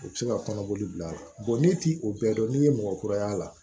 U bɛ se ka kɔnɔboli bila ne ti o bɛɛ dɔn n'i ye mɔgɔ kura y'a la